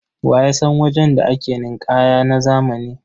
Wa ya san wajen da ake ninƙaya na zamani?